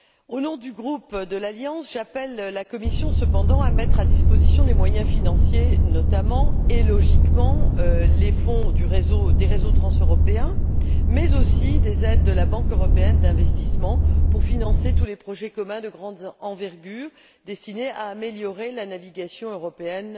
Au nom du groupe de l'Alliance, j'appelle la Commission cependant à mettre à disposition des moyens financiers, notamment, et logiquement les fonds des réseaux transeuropéens, mais aussi des aides de la Banque européenne d'investissement pour financer tous les projets communs de grande envergure destinés à améliorer la navigation européenne